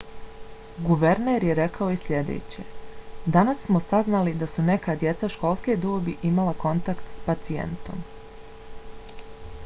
guverner je rekao i sljedeće: danas smo saznali da su neka djeca školske dobi imala kontakt s pacijentom.